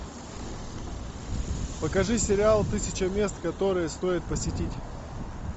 покажи сериал тысяча мест которые стоит посетить